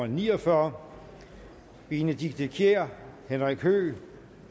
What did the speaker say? ni og fyrre benedikte kiær henrik høegh og